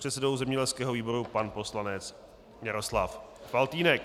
předsedou zemědělského výboru pan poslanec Jaroslav Faltýnek.